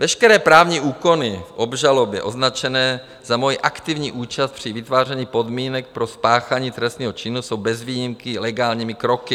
Veškeré právní úkony v obžalobě označené za moji aktivní účast při vytváření podmínek pro spáchání trestního činu jsou bez výjimky legálními kroky.